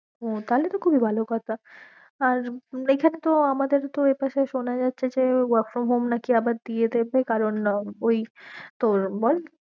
ও, তাহলে তো খুব ই ভালো কথা আর এখানে তো আমাদের এই পাশে সোনা যাচ্ছে যে work from home নাকি আবার দিয়েদেবে কারণ ঐ তোর বল